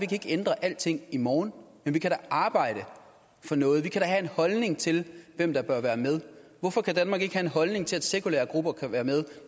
kan ændre alting i morgen men vi kan da arbejde for noget vi kan da have en holdning til hvem der bør være med hvorfor kan danmark ikke have en holdning til at sekulære grupper kan være med